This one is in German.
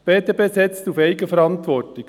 Die BDP setzt auf Eigenverantwortung.